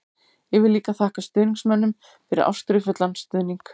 Ég vil líka þakka stuðningsmönnum fyrir ástríðufullan stuðning.